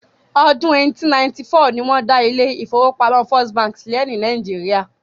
Ọdún 1894 ni wọ́n dá ilé ìfọwọ́pamo First bank sílẹ̀ ní Nàìjíría.